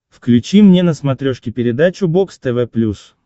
включи мне на смотрешке передачу бокс тв плюс